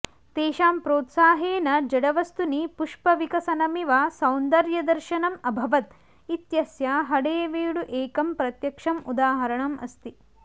तेषां प्रोत्साहेन जडवस्तुनि पुष्पविकसनमिव सौन्दर्यदर्शनम् अभवत् इत्यस्य हळेबीडु एकं प्रत्यक्षम् उदाहरणम् अस्ति